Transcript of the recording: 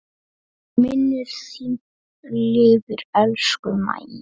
Minning þín lifir, elsku Mæja.